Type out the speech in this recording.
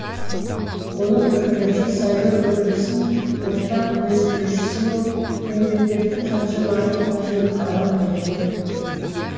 оның пікірінше сайлау үрдісін ортақ үйлестірушісі болып мемлекеттік хатшы марат тәжин қала береді